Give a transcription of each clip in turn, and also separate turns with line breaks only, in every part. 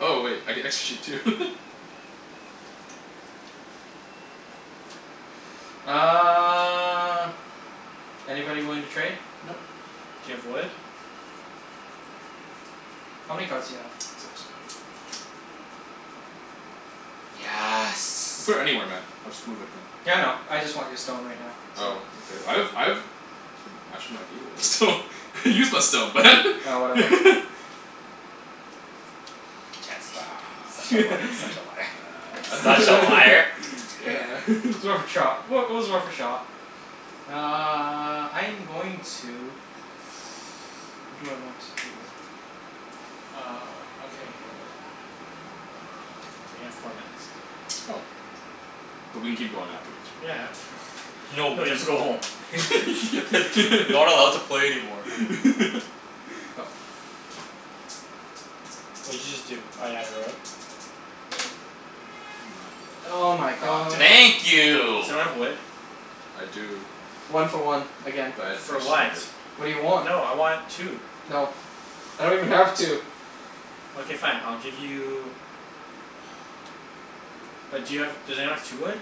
Oh wait, I get extra sheep too.
Uh anybody willing to trade?
Nope.
Do you have wood?
How many cards do you have?
Six.
Yes.
Put it anywhere man, I'll just move it again.
Yeah, I know, I just want your stone right now, so
Oh okay, I have I have Oh actually I gave away my stone, I used my stone
Oh whatever.
Chancey Such a li- such a liar. Such a liar.
It's worth a trot. Well it was worth a shot. Uh I'm going to what do I want to do?
Uh okay. Uh we have four minutes.
Oh. But we can keep going afterwards right?
Yeah no
No,
you have to go home.
Not allowed to play anymore.
Go.
What did you just do? Oh you haven't rolled?
Oh
Nine.
my
God damn
god.
it.
Thank
Does
you.
anyone have wood?
I do.
One for one, again.
But I
For
actually
what?
need it.
What do you want?
No, I want two.
No, I don't even have two.
Okay fine, I'll give you But do you have, does anyone have two wood?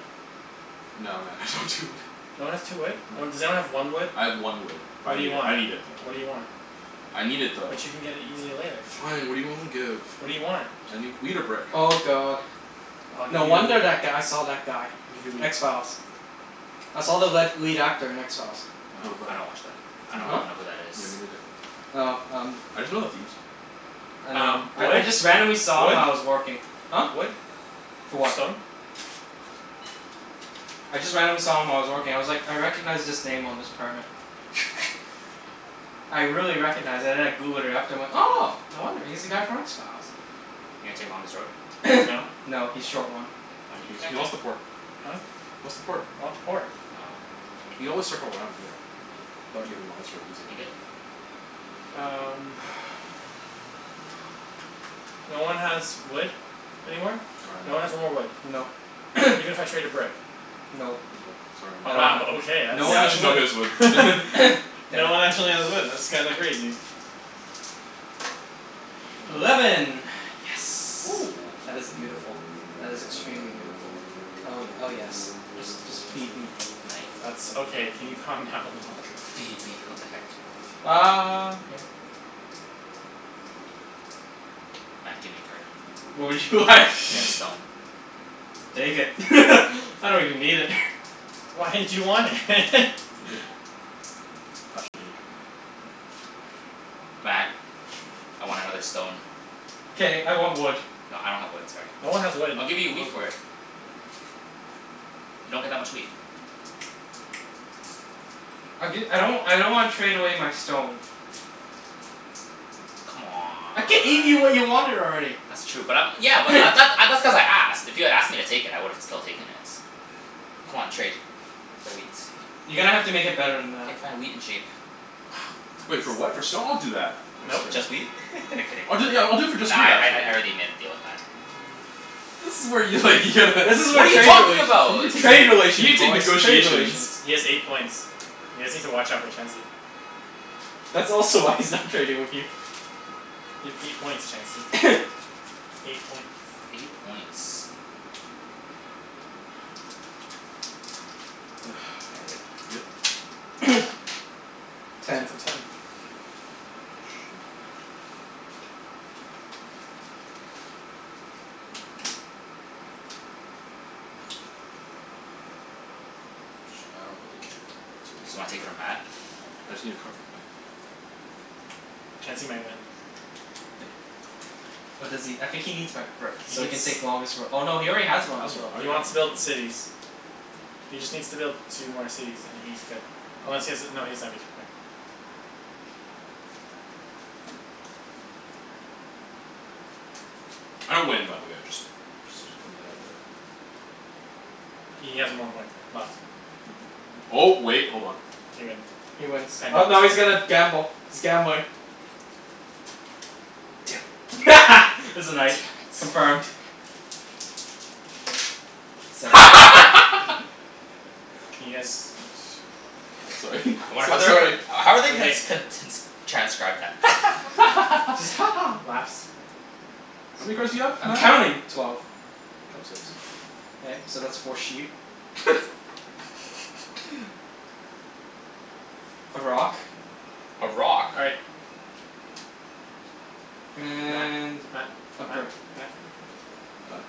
No man, I don't have two wood.
No one has two wood? No
No.
one, does anyone have one wood?
I have one wood. But
What
I
do you
need it,
want?
I need it though.
What do you want?
I need it though.
But you can get it easily later.
Fine, what're you willing to give?
What do you want?
I need wheat or brick.
Oh god.
I'll give
No wonder
you
that guy saw that guy.
I'll give you wheat.
X Files. I saw the
What?
led lead actor in X Files.
What
Oh
about
I
him?
don't watch that. I
Me
don't
Huh?
neither.
even know who that is.
Yeah, me neither.
Oh um
I just know the theme song.
I know.
Um
I I
wood?
just randomly saw him while I was working. Huh?
Wood? Wood?
For what?
Stone?
I just randomly saw him while I was working. I was like "I recognize this name on this permit." I really recognized and then I Googled it after and I'm like "Oh no wonder. He's the guy from X Files."
You gonna take longest road?
No?
No, he's short one.
Wha- why
No,
you
he's
connect
he
us
wants the port. He
Huh?
wants the port.
I want the port.
Oh.
You always circle around later. That'd give him longest road easy.
You good?
Um No one has wood anymore?
No.
Sorry
No
man.
one has no more wood?
Nope.
Even if I traded brick?
Nope.
Nope, sorry
Oh
I
man.
don't
wow,
have,
okay, that's
no one
Yeah,
has
actually
wood.
nobody has wood
Damn
No one
it.
actually has wood, that's kinda crazy.
Eleven.
Eleven. Yes.
Oh.
That is beautiful. That is extremely beautiful. Oh ye- oh yes. Just just feed me.
That's okay, can you calm down a little?
"Feed me." What the heck?
Um yeah.
Matt, gimme a card.
What would you like?
Get a stone.
Take it I don't even need it.
Why did you want it?
You good? Actually no, you're not good. Don't worry.
Matt, I want another stone.
K, I want wood.
No I don't have wood, sorry.
No one has wood.
I'll give you a
No
wheat
one has
for
wood.
it. You don't get that much wheat.
I'll gi- I don't w- I don't wanna trade away my stone. I gave you what you
C'mon.
wanted already.
That's true but I'm, yeah but that th- uh that's cuz I asked. If you had asked me to take it I would've still taken it. C'mon trade, for wheat.
You're gonna have to make it better than that.
K fine, wheat and sheep.
Wait for what, for stone? I'll do that.
Nope.
Next turn.
Just wheat? I'm kidding.
I'll do it yeah, I'll do it for just
Nah
wheat,
I I
actually.
I already made a deal with Matt.
This is where you like you'd
This is
What
what
are you
trade
talking
relations,
about?
You gonna
trade
take you
relations
gonna take
boys, trade
negotiations.
relations.
He has eight points. You guys need to watch out for Chancey.
That's also why he's not trading with you.
You have eight points Chancey. Eight points.
Eight points.
K,
K, I'm good.
good?
Ten.
It's
Ten.
a ten.
A sheep. And then Uh ch- I don't really care where it goes. Matt
Just
give me a
wanna take
card.
from Matt?
I just need a card from Matt.
Chancey might win.
What does he, I think he needs my brick
He
so he
needs
can take longest roa- oh no, he already has
I have long,
longest road.
I
He
already have
wants to build
longest road.
cities. He just needs to build two more cities and he's good. Unless he has a, no he doesn't have a two point.
I don't win by the way, I just just putting that out there.
He has one more point left.
Um oh wait, hold on.
He wins.
He wins. Oh no he's gonna gamble. He's gambling.
Damn it.
It's a
Damn
night.
it.
Confirmed. Seven.
Can you guys
Oh sorry
I wonder how
so-
they're
sorry
gon- how are they gonna
Okay.
ts- con- t- n- s- transcribe that?
Just "Ha ha"
"Laughs."
How many cards do you have
I'm
Matt?
counting. Twelve.
Drop six.
K, so that's four sheep. A rock.
A rock?
All right. Matt,
And
Matt,
a
Matt,
brick.
Matt
Done?